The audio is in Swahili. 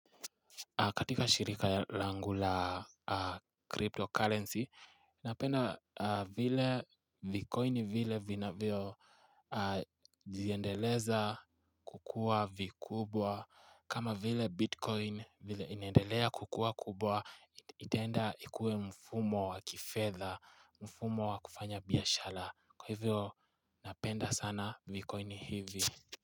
Katika shirika langu la cryptocurrency Napenda vile vikoini vile vina vio Ziendeleza kukua vikubwa kama vile bitcoin vile inendelea kukua kubwa Ittenda ikue mfumo wa kifetha mfumo wa kufanya biashara Kwa hivyo napenda sana vikoini hivi.